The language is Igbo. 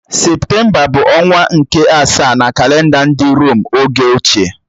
Septemba bụ ọnwa nke asaa na kalenda ndị Rom oge ochie